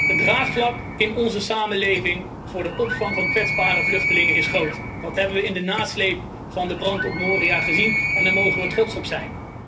Het draagvlak in onze samenleving voor de opvang van kwetsbare vluchtelingen is groot, dat hebben we in de nasleep van de brand op Moria gezien en daar mogen we trots op zijn.